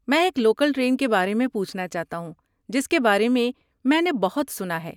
میں ایک local train کے بارے میں پوچھنا چاہتا ہوں جس کے بارے میں میں نے بہت سنا ہے۔